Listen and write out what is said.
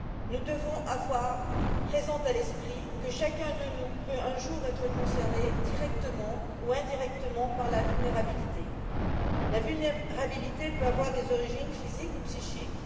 Nous devons avoir présent à l'esprit que chacun de nous peut, un jour, être concerné directement ou indirectement par la vulnérabilité. La vulnérabilité peut avoir des origines physiques ou psychiques.